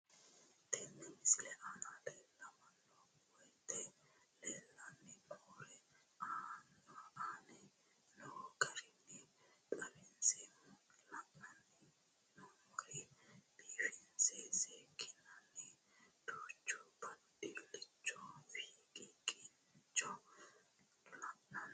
Tenne misile aana laeemmo woyte leelanni noo'ere aane noo garinni xawiseemmo. La'anni noomorri biifinse seekinonni duuchu baadilichu fiqiiqichchi leelanni nooe